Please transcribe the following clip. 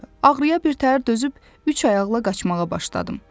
Ağrıya birtəhər dözüb üç ayaqla qaçmağa başladım.